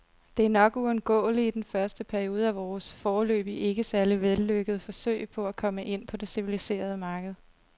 Det er nok uundgåeligt i den første periode af vores, foreløbig ikke særlig vellykkede, forsøg på at komme ind på det civiliserede marked.